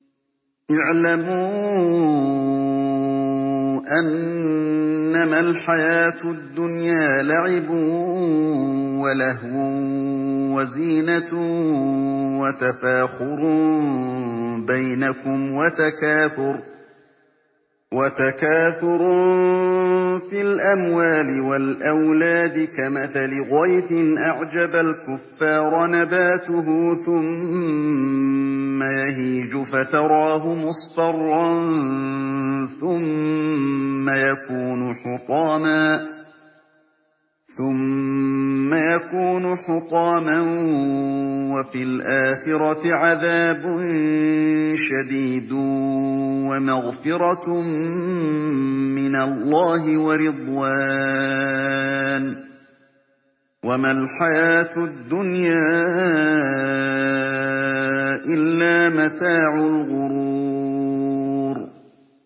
اعْلَمُوا أَنَّمَا الْحَيَاةُ الدُّنْيَا لَعِبٌ وَلَهْوٌ وَزِينَةٌ وَتَفَاخُرٌ بَيْنَكُمْ وَتَكَاثُرٌ فِي الْأَمْوَالِ وَالْأَوْلَادِ ۖ كَمَثَلِ غَيْثٍ أَعْجَبَ الْكُفَّارَ نَبَاتُهُ ثُمَّ يَهِيجُ فَتَرَاهُ مُصْفَرًّا ثُمَّ يَكُونُ حُطَامًا ۖ وَفِي الْآخِرَةِ عَذَابٌ شَدِيدٌ وَمَغْفِرَةٌ مِّنَ اللَّهِ وَرِضْوَانٌ ۚ وَمَا الْحَيَاةُ الدُّنْيَا إِلَّا مَتَاعُ الْغُرُورِ